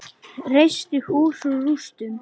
Reisti hús úr rústum.